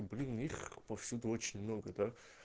блин есть повсюду очень много да